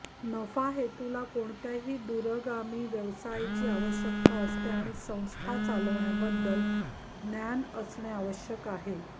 नफाहेतूला कोणत्याही दूरगामी व्यवसायाची आवश्यकता असते आणि संस्था चालवण्याबद्दल ज्ञान असणे आवश्यक आहे